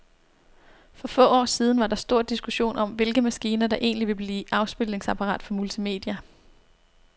For få år siden var der stor diskussion om, hvilke maskiner, der egentlig ville blive afspilningsapparater for multimedia.